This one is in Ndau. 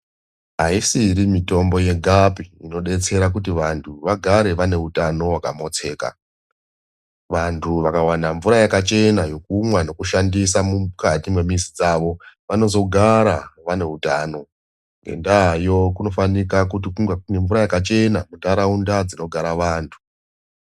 Ayisiri mutombo yegapi inodetsera kut vantu vagare vane utano hwakamotseka. Vantu vakawana mvura yakachena yekumwa nekushandisa mukati mwemizi dzavo vanozogara vane utano. Ngendayo vanofanika kunge kune mvura yakachena muntaraunda dzinogara vantu.